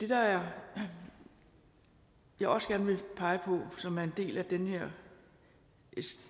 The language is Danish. her det jeg også gerne vil pege på som er en del af den her